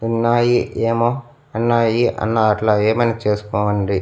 ఉన్నాయి ఏమో అన్నాయి అన్నా అట్లా ఏమైనా చేసుకోండి.